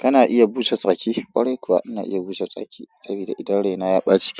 Kana iya busa tsaki? Kwarai kuwa ina iya bushe tsaki saboda idan raina ya ɓaci